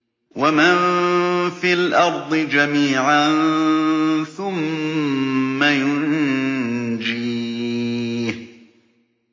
وَمَن فِي الْأَرْضِ جَمِيعًا ثُمَّ يُنجِيهِ